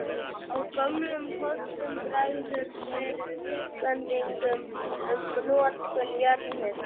Á gömlum kortum bregður fyrir vísbendingum um notkun jarðhitans.